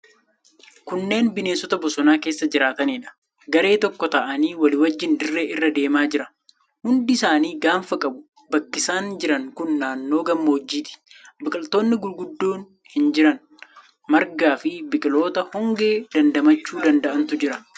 Kunneen bineensota bosona keessa jiraataniidha. Garee tokko taa'anii walii wajjin dirree irra deemaa jira. Hundi isaanii gaanfa qabu. Bakki isaan jiran kun naannoo gammoojjiiti. Biqiloonni guguddoon hin jiran. Margaafi biqiltoota hongee damdamachuu danda'antu jira.